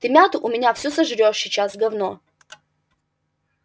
ты мяту у меня всю сожрёшь сейчас говно